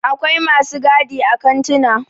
akwai masu gadi a kantuna